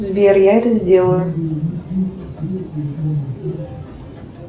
сбер я это сделаю